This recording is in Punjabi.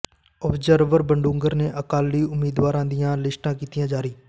ਆਬਜ਼ਰਵਰ ਬਡੂੰਗਰ ਨੇ ਅਕਾਲੀ ਉਮੀਦਵਾਰਾਂ ਦੀਆਂ ਲਿਸਟਾਂ ਕੀਤੀਆਂ ਜਾਰੀ